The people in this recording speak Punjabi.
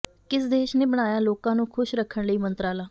ਕਿਸ ਦੇਸ਼ ਨੇ ਬਣਾਇਆ ਲੋਕਾਂ ਨੂੰ ਖੁਸ਼ ਰੱਖਣ ਲਈ ਮੰਤਰਾਲਾ